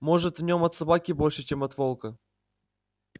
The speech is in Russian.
может в нем от собаки больше чем от волка